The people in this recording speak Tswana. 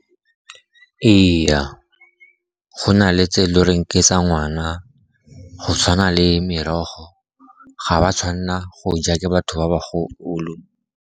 Ee, go na le tse lo reng ke tsa ngwana, go tshwana le merogo, ga ba tshwanela go ja ke batho ba bagolo.